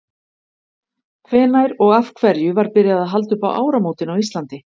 hvenær og af hverju var byrjað að halda upp á áramótin á íslandi